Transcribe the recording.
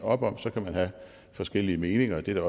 op om så kan man have forskellige meninger det er